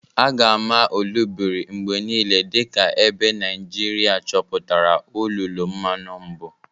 A ga-ama Olobiri mgbe niile dị ka ebe Naijiria chọpụtara olulu mmanu mbụ.